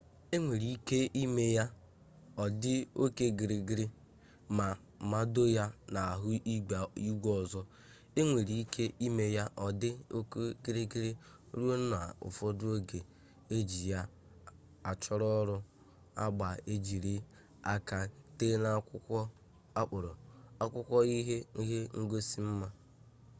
enwere ike ime ya ọ dị oke gịrịgịrị ma mado ya n'ahụ igwe ọzọ enwere ike ime ya ọ dị oke gịrịgịrị ruo na ụfọdụ oge eji ya achọ ọrụ agba ejiri aka tee n'akwụkwọ akpọrọ akwụkwọ ihe ngosi mma